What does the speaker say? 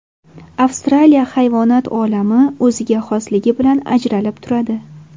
Avstraliya hayvonot olami o‘ziga xosligi bilan ajralib turadi.